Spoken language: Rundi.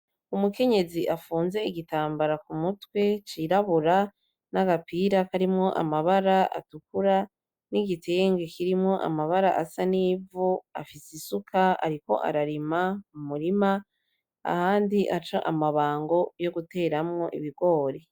Umukenyezi afunze igitambara ku mutwe cirabura n'agapira karimwo amabara atukura n'igitenge kirimwo amabara asa n'ivu afise isuka ariko ararima mu murima, ahandi aca amabango yo guteramwo ibigori.